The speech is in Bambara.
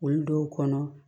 Olu dɔw kɔnɔ